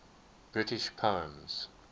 british poems